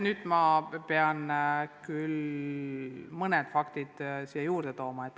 Nüüd ma pean küll mõned faktid nimetama.